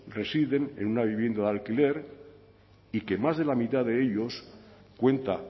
residen en una vivienda de alquiler y que más de la mitad de ellos cuenta